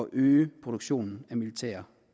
øge produktionen af militære